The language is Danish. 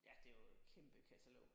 Ja det er jo et kæmpe katalog